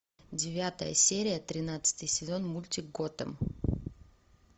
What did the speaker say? девятая серия тринадцатый сезон мультик готэм